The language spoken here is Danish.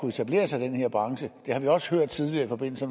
etablere sig i den her branche det har vi også hørt tidligere i forbindelse